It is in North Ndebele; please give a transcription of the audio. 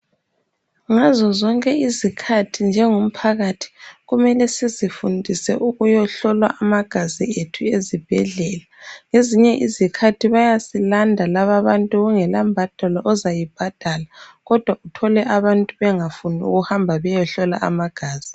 Ngazozonke izikhathi njengo mphakathi kumele sizifundise ukuyohlolwa amagazi ethu ezibhedlela ngezinye izikhathi bayasilanda laba bantu kungela mbadalo ozayibhadala kodwa uthole abantu bengafuni ukuhamba beyohlolwa amagazi.